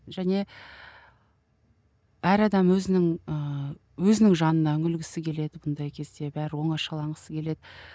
және әр адам өзінің ыыы өзінің жанына үңілгісі келеді бұндай кезде бәрі оңашаланғысы келеді